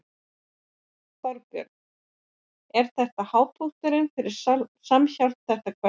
Þorbjörn: Er þetta hápunkturinn fyrir Samhjálp, þetta kvöld?